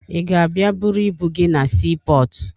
Ị ga-abịa buru ibu gị na siipọọtụ?